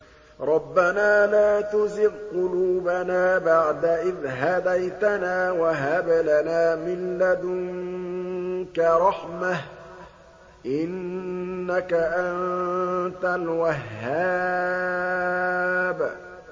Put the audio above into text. رَبَّنَا لَا تُزِغْ قُلُوبَنَا بَعْدَ إِذْ هَدَيْتَنَا وَهَبْ لَنَا مِن لَّدُنكَ رَحْمَةً ۚ إِنَّكَ أَنتَ الْوَهَّابُ